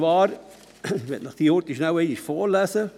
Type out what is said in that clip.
Ich lese sie Ihnen kurz vor: